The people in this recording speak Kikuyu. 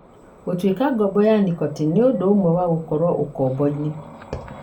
Gũtuĩka ngombo ya nicotine nĩ ũndũ ũmwe na gũkorũo ũkombo-inĩ.